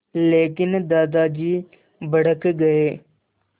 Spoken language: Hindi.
लेकिन दादाजी भड़क गए